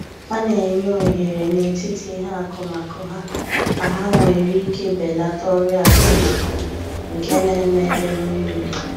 Ha na enye ohere na etiti ihe akụmakụ ha ka ha nwere ike belata ọrịa akụmakụ nke na-eme ebe mmiri di